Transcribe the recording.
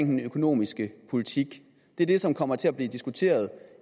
den økonomiske politik det er det som kommer til at blive diskuteret